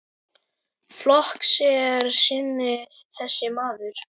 Flokks er sinni þessi maður.